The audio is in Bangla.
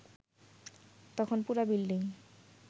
তখন পুরা বিল্ডিং